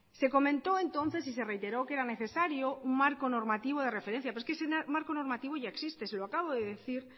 se comentó entonces y se reiteró que era necesario un marco normativo de referencia pero es que ese marco normativo ya existe se lo acabo de decir